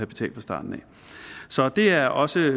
betalt fra starten så det er også